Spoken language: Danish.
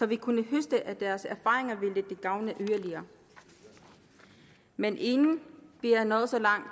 vi kunne høste af deres erfaringer ville det gavne yderligere men inden vi er nået så langt